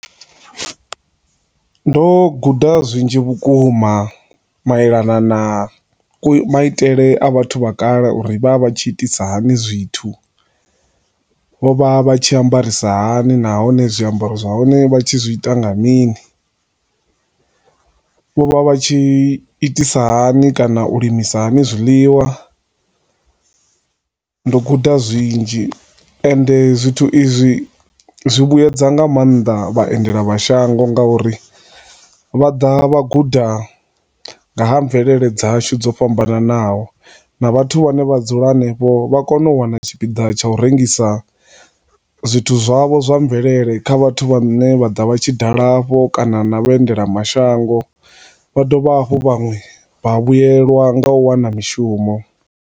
Ndo guda zwinzhi vhukuma mailana na ku maitele kwa vhathu vha kale uri vha tshi itisani hani zwithu, vho vha vha tshi ambarisa hani, nahone zwiambaro zwahone vha tshi zwi ita nga mini, vho vha vha tshi itisani hani, u limisa hani zwiḽiwa, ndo guda zwinzhi, ende zwithu izwi zwi vhuedza nga maanḓa vhaendela mashango nga uri vha da vha guda nga ha mvelele dza shu dzo fhambananaho na vhathu vha ne vha dzula henefho vha kona u wana tshipida tsha u rengisa zwithu zwavho zwa mvelele kha vhathu vha ne vhaḓa vha tshi dala vho kana na vha endela mashango. Vha dovha hafhu vhanwe vha vhuyelwa nga u wana mishumo.